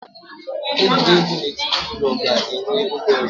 Egwuregwu n'etiti ụlọ ga-enwe oge ọzọ